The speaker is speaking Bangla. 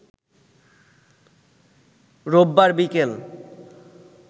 রোববার বিকেল